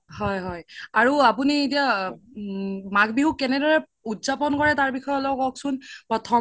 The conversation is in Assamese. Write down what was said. হয় হয় আৰু আপোনি এতিয়া মাঘ বিহু কেনে দৰে উদযাপন কৰে তাৰ বিষয়ে অলপ কওকচোন প্ৰথম দিনা